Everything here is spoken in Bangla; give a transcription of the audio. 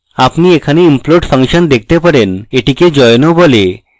আপনি এখানে implode ফাংশন দেখতে পারেন এটিকে join ও বলে